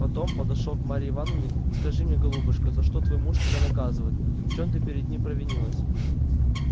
потом подошёл к марье ивановне скажи мне голубушка за что твой муж тебя наказывает в чём ты перед ним провинилась